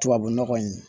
Tubabu nɔgɔ in